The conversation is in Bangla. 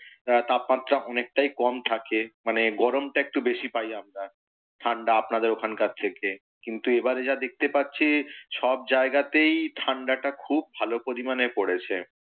তাপমাত্রা অনেকটাই কম থাকে, মানে গরমটা একটু বেশী পাই আমরা। ঠাণ্ডা আপনাদের ওখানকার থেকে। কিন্তু এবারে যা দেখতে পাচ্ছি সব জায়াগতেই ঠাণ্ডাটা খুব ভালো পরিমাণে পড়েছে।